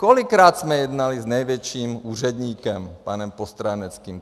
Kolikrát jsme jednali s největším úředníkem panem Postráneckým.